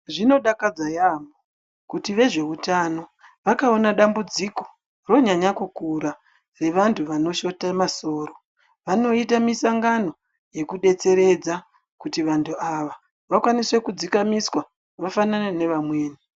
Zvinodakadza yaamho kuti vezveutano vakaona dambudziko ronyanya kukura revantu vanoshate masoro, vanoite misongano yekudetseredza kuti vantu ava vakwanise kudzikamiswa vafanane nevamweni.